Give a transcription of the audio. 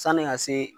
Sanni ka se